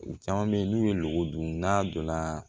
U caman bɛ yen n'u ye lɔgɔ dun n'a donna